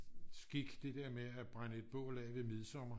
skik det der med at brænde et bål af ved midsommer